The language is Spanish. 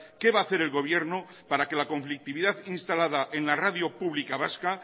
qué va a hacer el gobierno para que la conflictividad instalada en la radio pública vasca